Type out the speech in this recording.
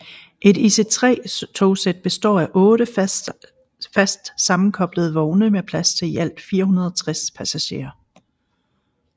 Et ICE 3 togsæt består af 8 fast sammenkoblede vogne med plads til i alt 460 passagerer